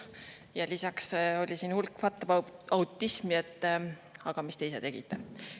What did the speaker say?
Ja lisaks oli siin hulk whataboutism'i, et aga mis te ise tegite.